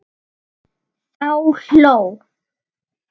Þá hló